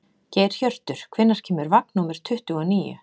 Geirhjörtur, hvenær kemur vagn númer tuttugu og níu?